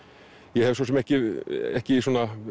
ég hef svo sem ekki ekki